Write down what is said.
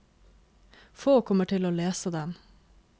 Få kommer til å lese den.